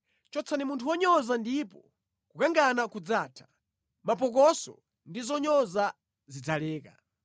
Chotsani munthu wonyoza, ndipo kukangana kudzatha; mapokoso ndi zonyoza zidzaleka.